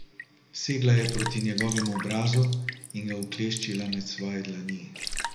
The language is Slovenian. Segla je proti njegovemu obrazu in ga ukleščila med svoje dlani.